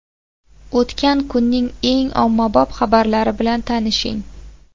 O‘tgan kunning eng ommabop xabarlari bilan tanishing.